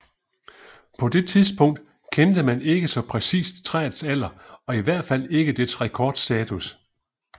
På det tidspunkt kendte man ikke så præcist træets alder og i hvert fald ikke dets rekordstatus